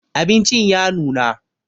Abincin ya nuna